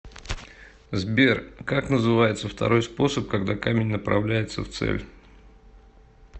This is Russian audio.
сбер как называется второй способ когда камень направляется в цель